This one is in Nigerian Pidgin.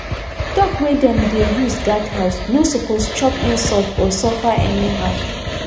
dog wey dem dey use guard house no suppose chop insult or suffer anyhow